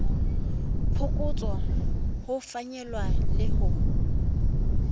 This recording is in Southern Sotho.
phokotso ho fanyehwa le ho